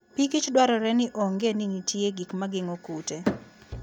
Pikich dwarore ni ong'e ni nitie gik ma geng'o kute.